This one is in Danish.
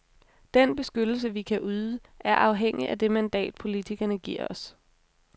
Den beskyttelse vi kan yde, er afhængig af det mandat, politikerne giver os.